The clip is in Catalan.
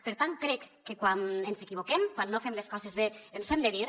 per tant crec que quan ens equivoquem quan no fem les coses bé ens ho hem de dir